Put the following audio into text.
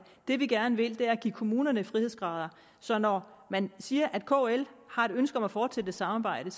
det vi gerne vil er at give kommunerne frihedsgrader så når man siger at kl har et ønske om at fortsætte samarbejdet